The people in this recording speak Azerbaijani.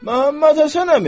Məhəmməd Həsən əmi!